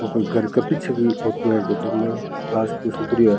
यो घर का पीछे को फोटो है जिम्मे घास फूस उग रीयो है।